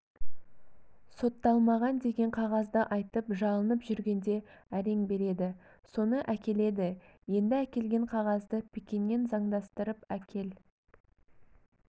сотталмаған деген қағазды айтып жалынып жүргенде әрең береді соны әкеледі енді әкелген қағазды пекиннен заңдастырып әкел